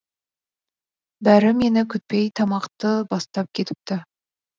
бәрі мені күтпей тамақты бастап кетіпті